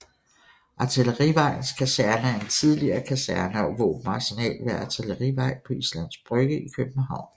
Artillerivejens Kaserne er en tidligere kaserne og våbenarsenal ved Artillerivej på Islands Brygge i København